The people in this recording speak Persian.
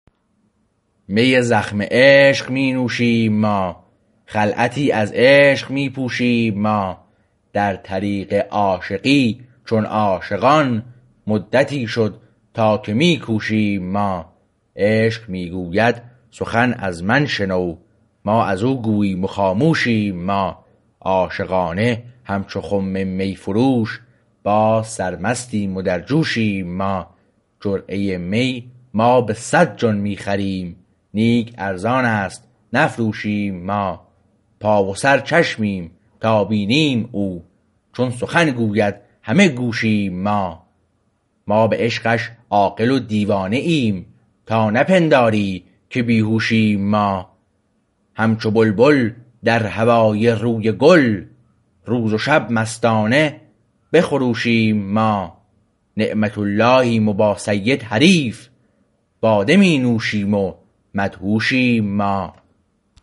می زخم عشق می نوشیم ما خلعتی از عشق می پوشیم ما در طریق عاشقی چون عاشقان مدتی شد تا که می کوشیم ما عشق می گوید سخن از من شنو ما از او گوییم و خاموشیم ما عاشقانه همچو خم میفروش باز سرمستیم و در جوشیم ما جرعه می ما به صد جان می خریم نیک ارزانست نفروشیم ما پا و سر چشمیم تا بینیم او چون سخن گوید همه گوشیم ما ما به عشقش عاقل و دیوانه ایم تا نه پنداری که بی هوشیم ما همچو بلبل در هوای روی گل روز و شب مستانه بخروشیم ما نعمت اللیهم و با سید حریف باده می نوشیم و مدهوشیم ما